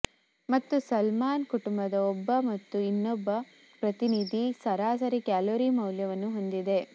ಮತ್ತು ಸಾಲ್ಮನ್ ಕುಟುಂಬದ ಒಬ್ಬ ಮತ್ತು ಇನ್ನೊಬ್ಬ ಪ್ರತಿನಿಧಿ ಸರಾಸರಿ ಕ್ಯಾಲೋರಿ ಮೌಲ್ಯವನ್ನು ಹೊಂದಿದೆ